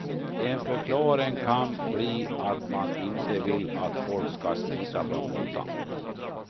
En förklaring kan bli att man inte vill att folk ska smita från notan.